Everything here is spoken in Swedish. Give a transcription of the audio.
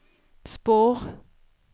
spår